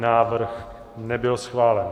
Návrh nebyl schválen.